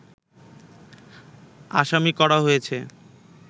আসামি করা হয়েছে